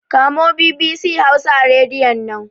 Kamo BBC Hausa a Rediyon nan!